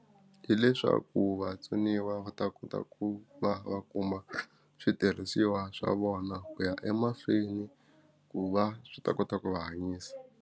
Hileswaku vatsoniwa va ta kota ku va va kuma switirhisiwa swa vona ku ya emahlweni ku va swi ta kota ku va hanyisa.